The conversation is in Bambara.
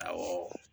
Awɔ